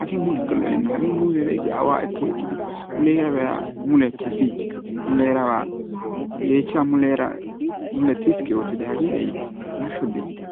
Hagee mulekka lo"enna Hagee muuzee beykki aawaa ekki ekkidi muleeraa biya mulee tasichiis, yeexhcha muleeraa mule tiskki ootidi mule tasichiis hagaa shodi olitte.